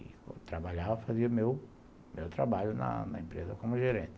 E, quando trabalhava, fazia meu trabalho na empresa como gerente.